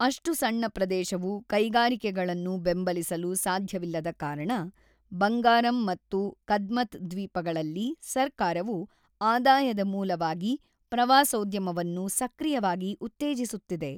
ಅಷ್ಟು ಸಣ್ಣ ಪ್ರದೇಶವು ಕೈಗಾರಿಕೆಗಳನ್ನು ಬೆಂಬಲಿಸಲು ಸಾಧ್ಯವಿಲ್ಲದ ಕಾರಣ, ಬಂಗಾರಮ್ ಮತ್ತು ಕದ್ಮತ್ ದ್ವೀಪಗಳಲ್ಲಿ ಸರ್ಕಾರವು ಆದಾಯದ ಮೂಲವಾಗಿ ಪ್ರವಾಸೋದ್ಯಮವನ್ನು ಸಕ್ರಿಯವಾಗಿ ಉತ್ತೇಜಿಸುತ್ತಿದೆ.